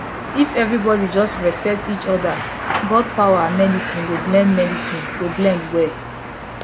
if everybody just dey respect each other god power and medicine go blend medicine go blend well